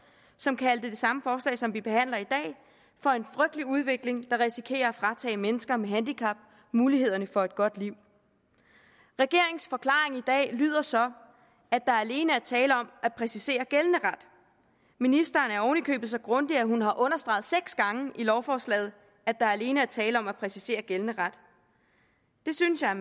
som kaldte det samme forslag som vi behandler i dag for en frygtelig udvikling der risikerer at fratage mennesker med handicap mulighederne for et godt liv regeringens forklaring i dag lyder så at der alene er tale om at præcisere gældende ret ministeren er oven i købet så grundig at hun har understreget seks gange i lovforslaget at der alene er tale om at præcisere gældende ret det synes jeg er